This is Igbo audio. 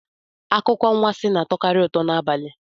Akụkọ anwansi na-atọkarị ụtọ n'abalị